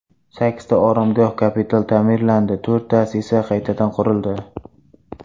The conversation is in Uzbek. Sakkizta oromgoh kapital ta’mirlandi, to‘rttasi esa qaytadan qurildi.